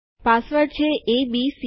password છે ABC